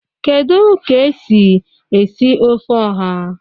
Kedu ka esi esi ofe oha?